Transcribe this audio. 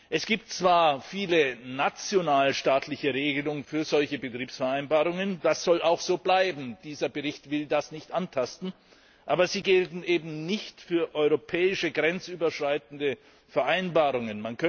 Es gibt zwar viele nationalstaatliche Regelungen für solche Betriebsvereinbarungen das soll auch so bleiben, dieser Bericht will das nicht antasten aber sie gelten eben nicht für europäische grenzüberschreitende Vereinbarungen.